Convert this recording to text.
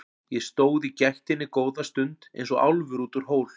Ég stóð í gættinni góða stund eins og álfur út úr hól.